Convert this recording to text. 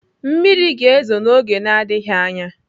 Mmiri ga-ezo n'oge na-adịghị anya.